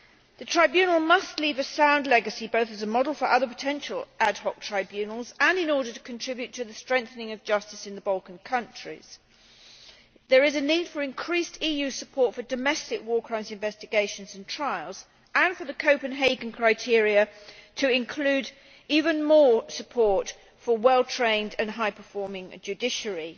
The Tribunal must leave a sound legacy, both as a model for other potential ad hoc tribunals and in order to contribute to the strengthening of justice in the Balkan countries. There is a need for increased EU support for domestic war crimes investigations and trials and for the Copenhagen criteria to include even more support for a well trained and high performing judiciary,